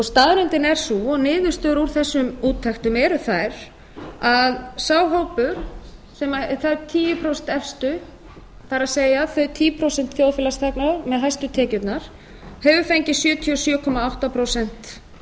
staðreyndin er sú og niðurstöður úr þessum úttektum eru þær að sá hópur tíu prósent efstu það er þau tíu prósent þjóðfélagsþegna með hæstu tekjurnar hefur fengið sjötíu og sjö komma átta prósent